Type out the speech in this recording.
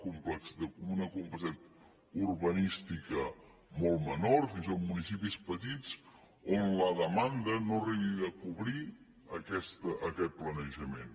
d’una complicitat urbanística molt menors fins i tot municipis petits on la demanda no arriba a cobrir aquest planejament